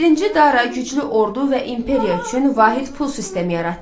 Birinci Dara güclü ordu və imperiya üçün vahid pul sistemi yaratdı.